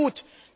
Das ist gut.